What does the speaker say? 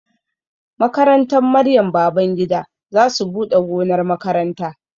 Makarantar Maryam Babangida za su buɗe gonar makaranta